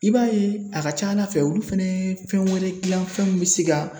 I b'a ye a ka ca ala fɛ olu fɛnɛ ye fɛn wɛrɛ gilan fɛn min be se ka